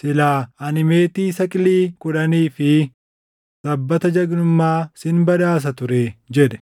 Silaa ani meetii saqilii kudhanii fi sabbata jagnummaa sin badhaasa turee” jedhe.